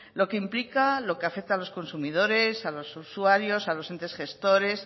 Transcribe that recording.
lo que implica lo que afecta a los consumidores a los usuarios a los entes gestores